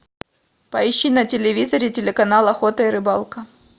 поищи на телевизоре телеканал охота и рыбалка